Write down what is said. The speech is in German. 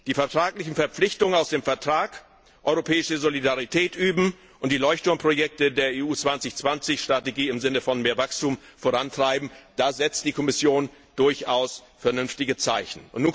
Bei den Verpflichtungen aus dem Vertrag, europäische Solidarität zu üben und die Leuchtturmprojekte der EU 2020 Strategie im Sinne von mehr Wachstum voranzutreiben, setzt die Kommission durchaus vernünftige Zeichen.